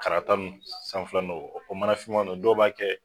Karata nu sanfɛla nɔgɔ o manafinman nu dɔw b'a kɛ